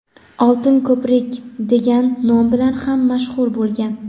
"Oltin ko‘prik" degan nom bilan ham mashhur bo‘lgan.